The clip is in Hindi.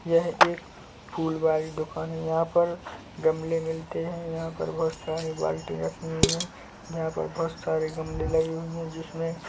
यह एक फूल वाली दुकान है यहाँ पर गमले मिलते है यहाँ पर बहुत सारी बाल्टियाँ रखी हुई है यहाँ पर बहुत सारे गमले लगे हुए है जिसमे--